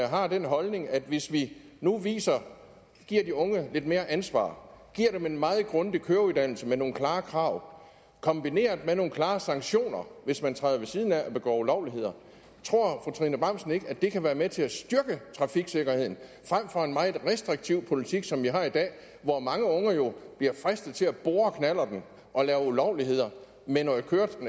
har den holdning at hvis vi nu giver de unge lidt mere ansvar giver dem en meget grundig køreuddannelse med nogle klare krav kombineret med nogle klare sanktioner hvis man træder ved siden af og begår ulovligheder at det kan være med til at styrke trafiksikkerheden frem for en meget restriktiv politik som vi har i dag hvor mange unge jo bliver fristet til at bore knallerten og lave ulovligheder med